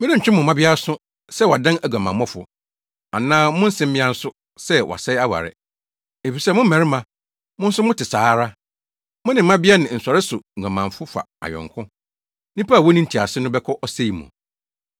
“Merentwe mo mmabea aso sɛ wɔadan aguamammɔfo, anaa mo nsemmea aso sɛ wɔasɛe aware. Efisɛ mo mmarima, mo nso mote saa ara. Mo ne mmabea ne nsɔreso nguamanfo fa ayɔnko. Nnipa a wonni ntease no bɛkɔ ɔsɛe mu!